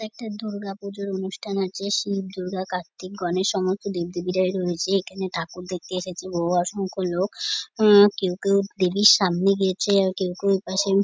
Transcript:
একটা দুর্গাপূজার অনুষ্ঠান আছে শিব দুর্গা কার্তিক গণেশ সমস্ত দেব দেবীরাই রয়েছে এখানে ঠাকুর দেখতে এসেছি বহু অসংখ্য লোক আহ কেউ কেউ দেবীর সামনে গিয়েছে আর কেউ কেউ ওপাশে --